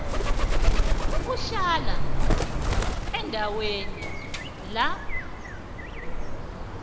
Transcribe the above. uhlala endaweni la